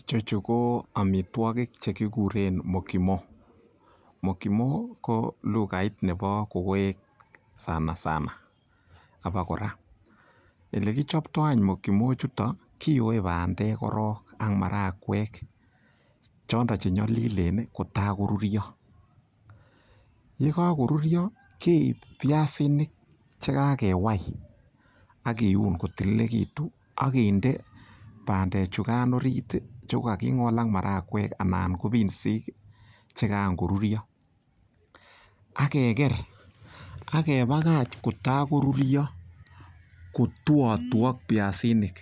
Icheju ko amitwogik che kiguren mukimo, mukimo ko lugait nebo kokoek sanasana abakora. Ele kichopto any mukimo ichuto, kiyoe bandek korong ak marakwek chondon che nyolilen kotagoruryo, ye kagoruryo keib biasinik che kagewai ak kiun kotililigitun ak kiinde bandechukan orit che kogaki ng'ol ak marakwek anan ko binsik che karan koruruyo ak keger ak kebakach kotakoruryo kotuotuok biasinik